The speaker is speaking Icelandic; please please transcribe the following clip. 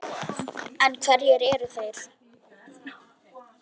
En hverjir eru þeir?